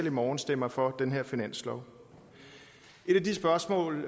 i morgen stemmer for den her finanslov et af de spørgsmål